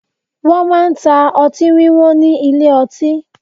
Wọn máa ń ta ọtí wíwọ́n ní ilé ọtí